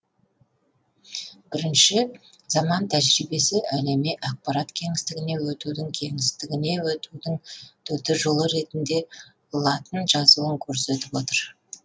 бірінші заман тәжірибесі әлеми ақпарат кеңістігіне өтудің кеңістігіне өтудің төте жолы ретінде латын жазуын көрсетіп отыр